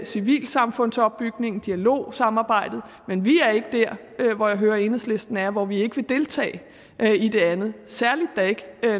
civilsamfundsopbygningen dialogsamarbejdet men vi er ikke der hvor jeg hører enhedslisten er og hvor vi ikke vil deltage i det andet særlig da ikke